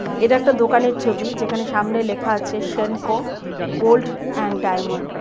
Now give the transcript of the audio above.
এটা একটা দোকানের ছবি যেখানে সামনে লেখা আছে সেনকো গোল্ড এন্ড ডায়মন্ড .